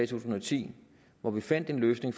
tusind og ti hvor vi fandt en løsning